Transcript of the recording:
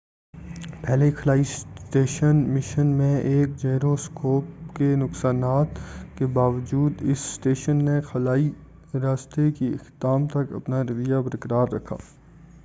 پہلے خلائی station mission میں ایک جیرو اسکوپ کے نقصان کے باوجود اس اسٹیشن نے خلائی راستے کے اختتام تک اپنا رویہ برقرار رکھا